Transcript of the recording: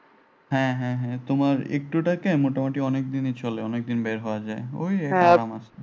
হ্যাঁ হ্যাঁ হ্যাঁ তোমার একটু টাকায় মোটামুটি অনেকদিনই চলে অনেকদিন বের হওয়া যায়। ঐ আর আমার